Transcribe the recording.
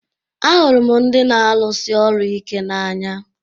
Ahụrụ m ndị na-arụsi ọrụ ike n'anya